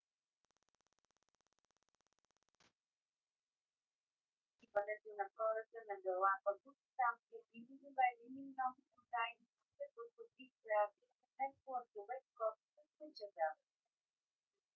след идването на хората на галапагос там са били доведени много бозайници като кози крави коне плъхове котки и кучета